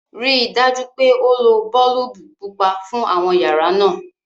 ríi dájú pé o ló boolubu pupa fún àwọn yàrá náa!